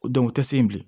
u tɛ se bilen